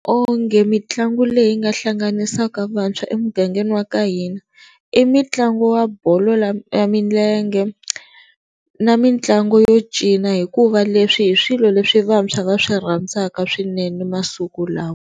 Onge mitlangu leyi nga hlanganisaka vantshwa emugangeni wa ka hina i mutlangu wa bolo ya milenge na mitlangu yo cina hikuva leswi hi swilo leswi vantshwa va swi rhandzaka swinene masiku lawa.